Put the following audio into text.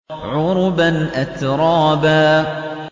عُرُبًا أَتْرَابًا